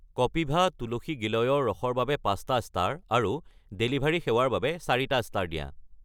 কপিভা তুলসী-গিলয়ৰ ৰস ৰ বাবে ৫টা ষ্টাৰ আৰু ডেলিভাৰী সেৱাৰ বাবে ৪টা ষ্টাৰ দিয়া।